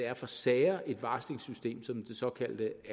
er for sager et varslingssystem som det såkaldte